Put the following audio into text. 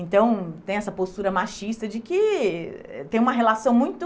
Então, tem essa postura machista de que tem uma relação muito